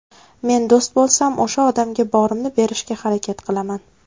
Men do‘st bo‘lsam, o‘sha odamga borimni berishga harakat qilaman.